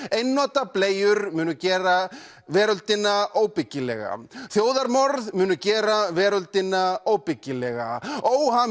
einnota bleiur munu gera veröldina óbyggilega þjóðarmorð munu gera veröldina óbyggilega